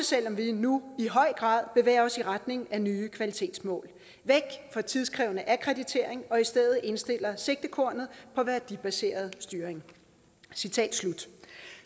selv om vi nu i høj grad bevæger os i retning af nye kvalitetsmål væk fra tidskrævende akkreditering og i stedet indstiller sigtekornet på værdibaseret styring